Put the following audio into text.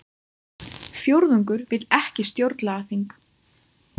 Fjórðungur vill ekki stjórnlagaþing